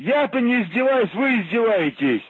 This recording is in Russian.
я-то не издеваюсь вы издеваетесь